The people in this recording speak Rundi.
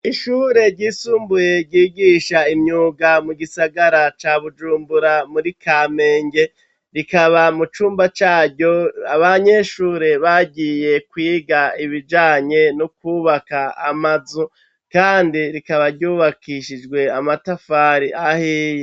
Ishure ryisumbuye ryigisha imyuga mu gisagara ca Bujumbura muri Kamenge, rikaba mu cumba caryo abanyeshure bagiye kwiga ibijanye n' ukwubaka amazu kandi rikaba ryubakishijwe amatafari ahiye.